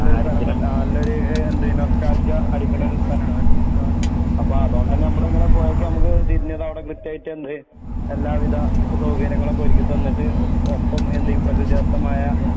നല്ലൊരു സ്ഥലം ആ നല്ലൊരു ഏ എന്തെന്നു നൊസ്റ്റാൾജിയ അടിക്ക്ണൊരു സ്ഥലാണ് അപ്പ അതോണ്ടന്നെ നമ്മള് ങ്ങനെ പോയേക്ക് ഞമ്മക്ക് തിരിഞ്ഞതെവിടെ കിട്ടായിട്ടെന്ത് എല്ലാവിധ സൗകര്യങ്ങളൊക്കൊരുക്കി തന്നിട്ട് ഒ ഒപ്പം എന്ത് പ്രകൃതിദത്തമായ